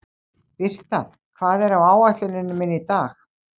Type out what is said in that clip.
Birta, hvað er á áætluninni minni í dag?